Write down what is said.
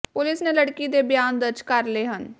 ਪੁਲਸ ਨੇ ਲੜਕੀ ਦੇ ਬਿਆਨ ਦਰਜ ਕਰ ਲਏ ਹਨ